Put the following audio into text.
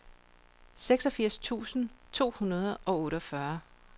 seksogfirs tusind to hundrede og otteogfyrre